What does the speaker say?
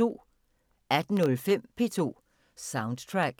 18:05: P2 Soundtrack